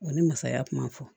O ni masaya kuma fɔ